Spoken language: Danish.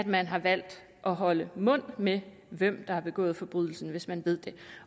man har valgt at holde mund med hvem der har begået forbrydelsen hvis man ved det